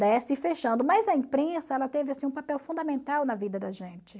fechando. Mas a imprensa ela teve assim um papel fundamental na vida da gente.